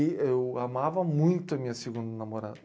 Eu amava muito a minha segunda namorada.